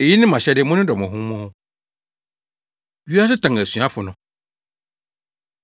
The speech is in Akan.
Eyi ne mʼahyɛde: Monnodɔ mo ho mo ho. Wiase Tan Asuafo No